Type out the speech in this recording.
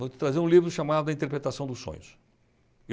Eu vou te trazer um livro chamado A Interpretação dos Sonhos.